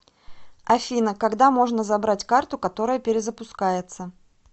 афина когда можно забрать карту которая перезапускается